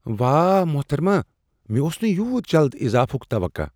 واہ محترمہ ، مے٘ اوس نہٕ یوُت جلد اضافٗك توقع ۔